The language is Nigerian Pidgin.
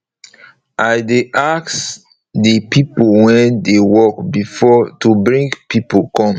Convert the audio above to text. i dey ask de pipo wey dey work before to bring pipo come